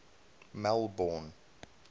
melbourne